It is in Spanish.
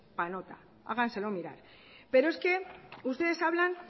para nota háganselo mirar pero es que ustedes hablan